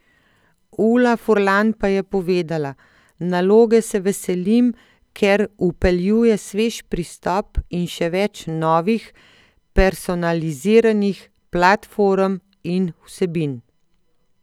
Ula Furlan pa je povedala: "Naloge se veselim, ker vpeljuje svež pristop in še več novih, personaliziranih platform in vsebin.